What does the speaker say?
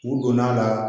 U donn'a la